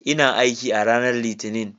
Ina aiki a ranar Litinin.